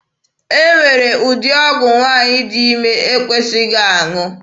E nwere ụdị ọgwụ nwaanyị dị ime na-ekwesịghị aṅụ.